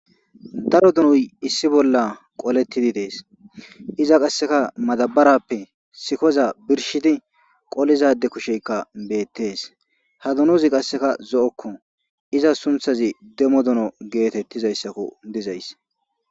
Daro donoy issi bola qoletidi des iza qaseka madabarappe sikoza birshidi qoliza ade kusheka betes ha donozi qaseka zo'oko izas suntazi demo dono gitetizaysakko dizaysi.